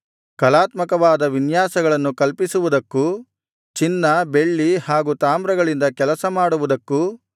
ಕಲಾತ್ಮಕವಾದ ವಿನ್ಯಾಸಗಳನ್ನು ಕಲ್ಪಿಸುವುದಕ್ಕೂ ಚಿನ್ನ ಬೆಳ್ಳಿ ಹಾಗು ತಾಮ್ರಗಳಿಂದ ಕೆಲಸ ಮಾಡುವುದಕ್ಕೂ